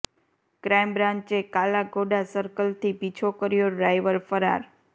crime બ્રાન્ચે કાલા ઘોડા સર્કલથી પીછો કર્યો ડ્રાઈવર ફરાર